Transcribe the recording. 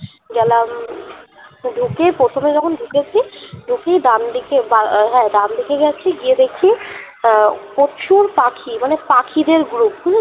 গেলাম ঢুকে প্রথমে যখন ঢুকেছি দেখি ডান দিকে হা ডান দিকে গিয়ে দেখি আহ প্রচুর পাখি মানে পাখিদের group